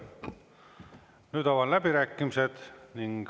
Nüüd avan läbirääkimised.